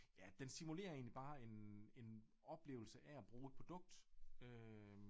Ja den simulerer egentlig bare en en oplevelse af at bruge et produkt øh